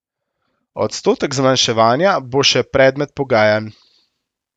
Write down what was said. Odstotek zmanjševanja bo še predmet pogajanj.